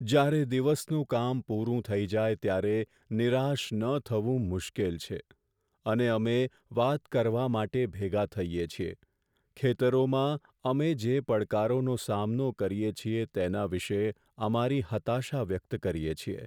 જ્યારે દિવસનું કામ પૂરું થઈ જાય ત્યારે નિરાશ ન થવું મુશ્કેલ છે, અને અમે વાત કરવા માટે ભેગા થઈએ છીએ, ખેતરોમાં અમે જે પડકારોનો સામનો કરીએ છીએ તેના વિશે અમારી હતાશા વ્યક્ત કરીએ છીએ.